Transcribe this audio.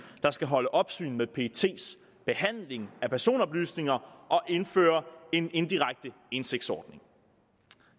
der skal holde opsyn med pets behandling af personoplysninger og indføre en indirekte indsigtsordning